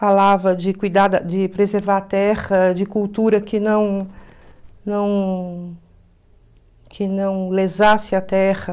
Falava de cuidar da de preservar a terra, de cultura que não não que não lesasse a terra.